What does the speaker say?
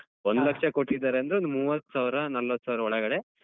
ಒಂದ್ ಲಕ್ಷ ಕೊಟ್ಟಿದ್ದಾರೆ ಅಂದ್ರೆ ಒಂದ್ ಮೂವತ್ ಸಾವ್ರ ನಲ್ವತ್ ಸಾವ್ರ ಒಳಗಡೆ.